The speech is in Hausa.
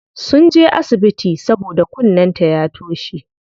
Sunje asibiti saboda kunnen ta ya toshe.